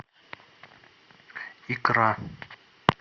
икра